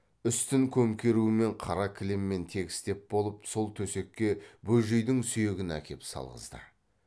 үстін көмкерумен қара кілеммен тегістеп болып сол төсекке бөжейдің сүйегін әкеп салғызды